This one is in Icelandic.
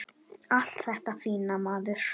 Allt þetta fína, maður.